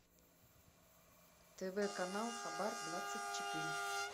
тв канал хабар двадцать четыре